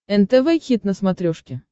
нтв хит на смотрешке